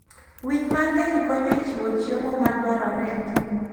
Winy mang'eny konyo e chiwo chiemo madwarore e ngima.